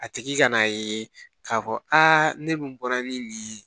A tigi ka na ye k'a fɔ a ne dun bɔra ni nin ye